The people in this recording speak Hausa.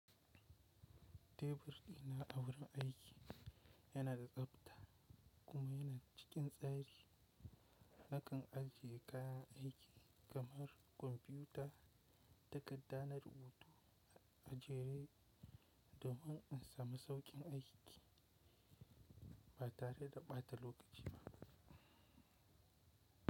Tebur ɗina a wurin aiki yana da tsabta kuma yana cikin tsari. Nakan ajiye kayan aiki kamar kwamfiyuta takadda na rubutu ajiye domin in sami sauƙin aiki ba tare da ɓata lokaci ba.